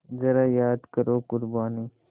ज़रा याद करो क़ुरबानी